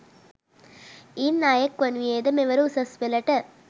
ඉන් අයෙක් වනුයේද මෙවර උසස්පෙළට